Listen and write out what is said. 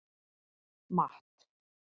Matt